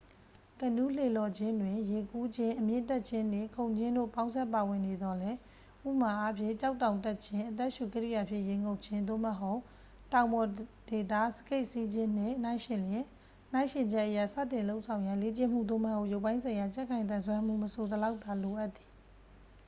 ကနူးလှေလှော်ခြင်းတွင် ရေကူးခြင်း၊ အမြင့်တက်ခြင်းနှင့် ခုန်ခြင်းတို့ ပေါင်းစပ်ပါဝင်နေသော်လည်း ဥပမာအားဖြင့် ကျောက်တောင်တက်ခြင်း၊ အသက်ရှူကိရိယာဖြင့် ရေငုပ်ခြင်း သို့မဟုတ် တောင်ပေါ်ဒေသ စကိတ်စီးခြင်းနှင့် နှိုင်းယှဉ်လျှင် နှိုင်းယှဉ်ချက်အရ စတင်လုပ်ဆောင်ရန် လေ့ကျင့်မှု သို့မဟုတ် ရုပ်ပိုင်းဆိုင်ရာ ကြံ့ခိုင်သန်စွမ်းမှု မဆိုစလောက်သာ လိုအပ်သည်။